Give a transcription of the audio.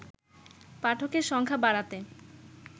পাঠকের সংখ্যা বাড়াতে